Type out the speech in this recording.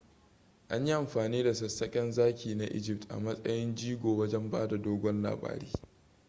an yi amfani da sassaken zaki na egypt a matsayin jigo wajen bada dogon labari